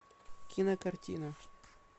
кинокартина